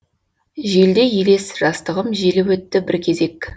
желдей елес жастығым желіп өтті бір кезек